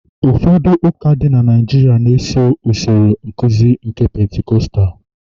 ụfọdụ ụka dị na Naijiria na- esoro nkuzi aka Pentikọstal